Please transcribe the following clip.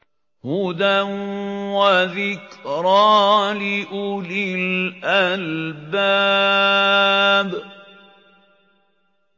هُدًى وَذِكْرَىٰ لِأُولِي الْأَلْبَابِ